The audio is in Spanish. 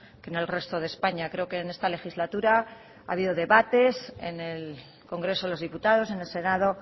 que en el resto de españa creo que en esta legislatura ha habido debates en el congreso de los diputados en el senado